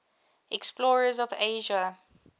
explorers of asia